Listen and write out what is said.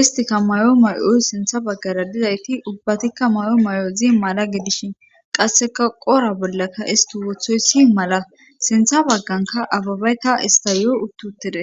istika may7o may7oy sintha baggara didayti ubbatikka mayo may7o zi mala gidishin qasseka qora bollaka isti wothoy si mala sintha bagganka ababayta istayo uttuttide